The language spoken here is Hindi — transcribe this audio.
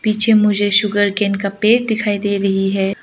पीछे मुझे सुगरकेन का पेड़ दिखाई दे रही है।